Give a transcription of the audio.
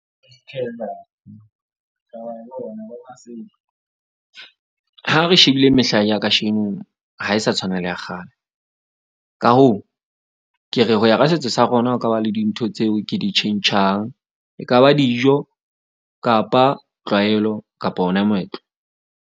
Ha re shebile mehla ya kasheno ha e sa tshwana le ya kgale. Ka hoo, ke re ho ya ka setso sa rona ho ka ba le dintho tseo ke di tjhentjhang. Ekaba dijo kapa tlwaelo kapa ona moetlo.